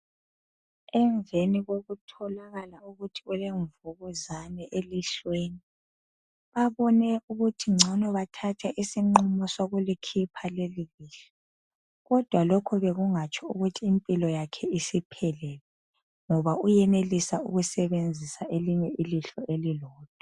Emveni kokutholakala ukuthi ulemvukuzane elihlweni. Babone ukuthi ngcono bathathe isinqumo sokulikhipha lelolihlo, kodwa lokho bekungatsho ukuthi impilo yakhe isiphelile, ngoba uyenelisa ukusebenzisa elinye ilihlo elilodwa.